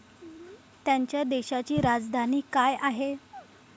त्यांच्या देशाची राजधानी काय आहे?